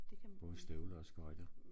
Både støvler og skøjter